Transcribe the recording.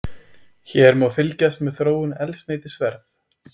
Hér má fylgjast með þróun eldsneytisverðs